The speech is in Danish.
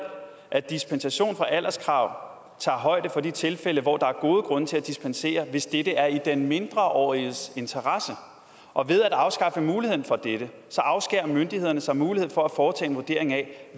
at dispensation fra alderskravet tager højde for de tilfælde hvor der er gode grunde til at dispensere hvis dette er i den mindreåriges interesse og ved at afskaffe muligheden for dette afskærer det myndighedernes mulighed for at foretage en vurdering af